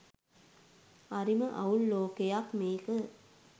හරිම අවුල් ලෝකයක් මේක .